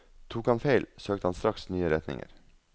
Tok han feil, søkte han straks nye retninger.